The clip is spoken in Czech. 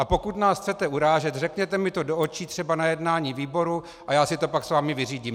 A pokud nás chcete urážet, řekněte mi to do očí třeba na jednání výboru a já si to pak s vámi vyřídím!